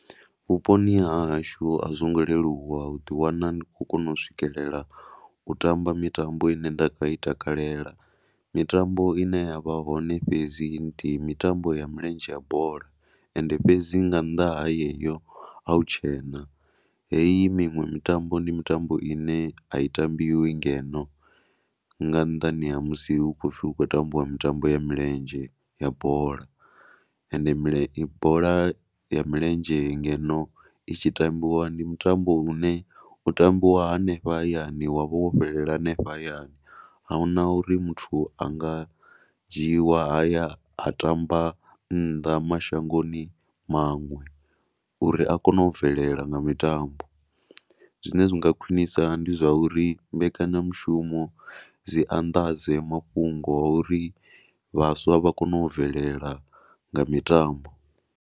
Vhuponi ha hashu a zwo ngo leluwa u ḓiwana ni khou kona u swikalela u tamaba mitambo i ne ndi nga i takalela. Mitambo i ne ya vha hone fhedzi ndi mitambo ya mulenzhe ya bola. Ende fhedzi nga nnḓa ha yeyo, a hu tshena, hei miṅwe mitambo ndi mitambo i ne a i tambiwi ngeno nga nnḓani ha musi hu khou pfhi hu khou tambiwa mitambo ya milenzhe ya bola. Ende bola ya milenzhe ngeno i tshi tambiwa, ndi mutambo u ne u tambiwa hanefha hayani wa vha wo fhelela hanefha hayani. A hu na uri muthu a nga dzhiiwa a ya tamba nnḓa mashangoni maṅwe uri a kone u bvelela nga mitambo. Zwine zwi nga khwinisa ndi zwa uri mbekanyamushumo dzi anḓadze mafhungoni a uri vhaswa vha kone u bvelela nga mitambo.